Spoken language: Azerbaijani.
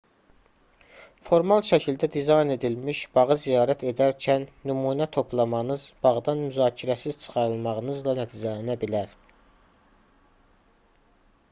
formal şəkildə dizayn edilmiş bağı ziyarət edərkən nümunə toplamanız bağdan müzakirəsiz çıxarılmağınızla nəticələnə bilər